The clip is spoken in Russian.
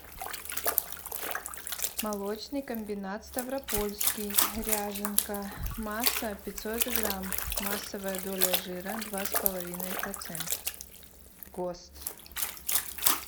молочный комбинат ставропольский ряженка масса пятьсот грамм массовая доля жира два с половиной процента гост